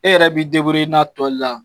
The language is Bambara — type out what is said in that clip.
E yɛrɛ b'i in na tɔ la.